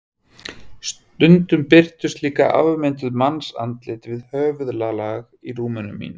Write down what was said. Stundum birtust líka afmynduð mannsandlit við höfðalagið í rúminu mínu.